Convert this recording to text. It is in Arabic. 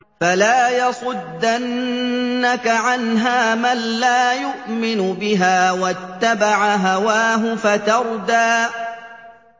فَلَا يَصُدَّنَّكَ عَنْهَا مَن لَّا يُؤْمِنُ بِهَا وَاتَّبَعَ هَوَاهُ فَتَرْدَىٰ